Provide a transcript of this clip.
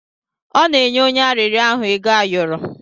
Ọ na-enye onye arịrịọ ahụ ego ayọrọ.